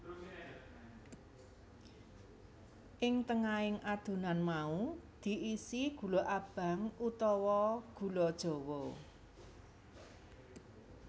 Ing tengahing adonan mau diisi gula abang utawa gula jawa